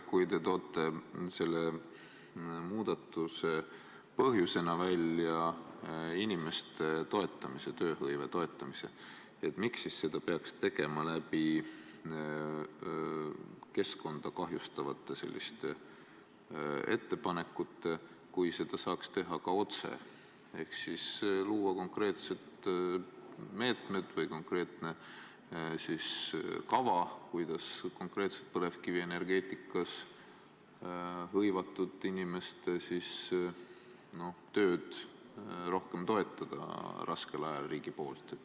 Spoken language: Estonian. Kui te toote selle muudatuse põhjusena välja inimeste toetamise, tööhõive toetamise, miks siis seda peaks tegema keskkonda kahjustavate ettepanekutega, kui seda saaks teha ka otse ehk luua konkreetsed meetmed või konkreetse kava, kuidas põlevkivienergeetikas hõivatud inimeste tööd raskel ajal rohkem riigi poolt toetada?